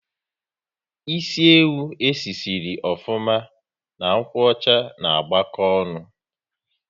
Ịsị ewu e si sịrị ofuma na nkwocha ná agbako ọṅụ